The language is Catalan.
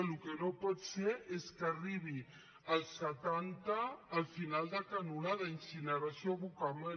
el que no pot ser és que arribi al setanta al final de canonada incineració abocament